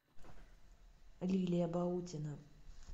лилия баутина